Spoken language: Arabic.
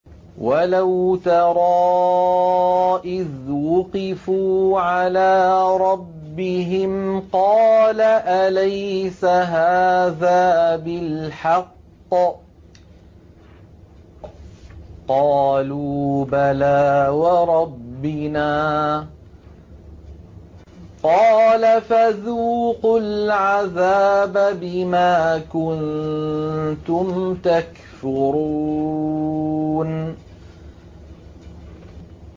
وَلَوْ تَرَىٰ إِذْ وُقِفُوا عَلَىٰ رَبِّهِمْ ۚ قَالَ أَلَيْسَ هَٰذَا بِالْحَقِّ ۚ قَالُوا بَلَىٰ وَرَبِّنَا ۚ قَالَ فَذُوقُوا الْعَذَابَ بِمَا كُنتُمْ تَكْفُرُونَ